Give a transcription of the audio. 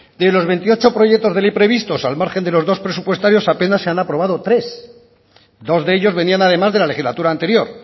de los veintiocho proyectos de ley previstos al margen de los dos presupuestarios apenas se han aprobado tres dos de ellos venían además de la legislatura anterior